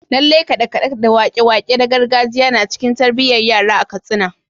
Lallai kade-kade da wake-wake na gargajiya na cikin tarbiyyar yara a Katsina.